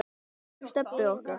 Elsku Stebbi okkar.